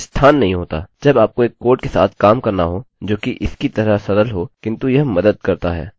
सब कुछ स्थान नहीं होता जब आपको एक कोड के साथ सामना करना हो जो इसकी तरह सरल हो किन्तु यह मदद करता है